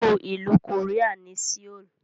Olú ìlú Korea ni Seoul.